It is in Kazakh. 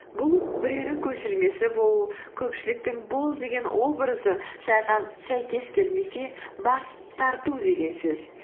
бұл біреудің көшірмесі болу көпшіліктің бол деген образы сәйкес келмесе бас тарту деген сөз